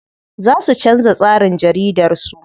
Za su canza tsarin jaridar su.